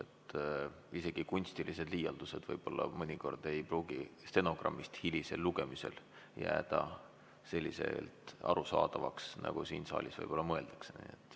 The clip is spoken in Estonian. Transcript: Teatud kunstilised liialdused ei pruugi hiljem stenogrammist lugemisel selliselt arusaadavad olla, nagu siin saalis võib-olla mõeldakse.